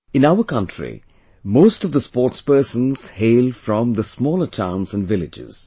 In our country most of the sportspersons hail from the smaller towns and villages